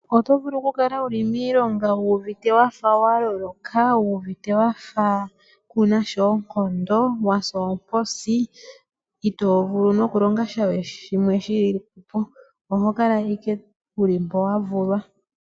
Oto vulu okukali wuli miilonga wuuvite wafa wa loloka, kunasha oonkondo ngoye owasa oomposi, ito vulu nokulonga sha we shimwe shilipo. Oho kala owala wuli mpoka wa vulwa.